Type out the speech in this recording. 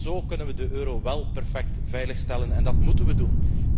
Want zo kunnen we de euro wél perfect veiligstellen en dat moeten we doen.